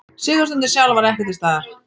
Sigurstundin sjálf var ekki til staðar